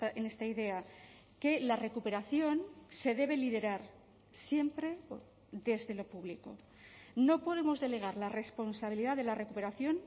en esta idea que la recuperación se debe liderar siempre desde lo público no podemos delegar la responsabilidad de la recuperación